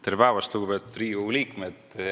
Tere päevast, lugupeetud Riigikogu liikmed!